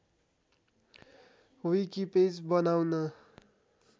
wiki page बनाउन